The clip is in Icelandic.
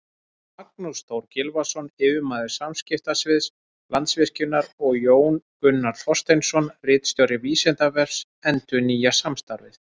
Magnús Þór Gylfason, yfirmaður samskiptasviðs Landsvirkjunar, og Jón Gunnar Þorsteinsson, ritstjóri Vísindavefsins, endurnýja samstarfið.